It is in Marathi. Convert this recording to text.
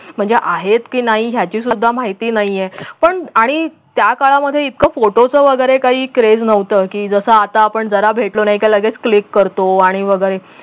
म्हणजे आहेत की नाही याची सुद्धा माहिती नाहीये पण आणि त्या काळामध्ये इतकं photo च वगैरे काही craze नव्हतं की जस आता आपण जरा भेटलो नाही की लगेच click करतो आणि वगैरे